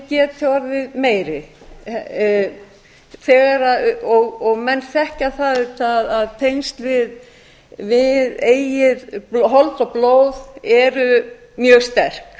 barnið geti orðið meiri og menn þekkja það auðvitað að tengsl við eigið hold og blóð eru mjög sterk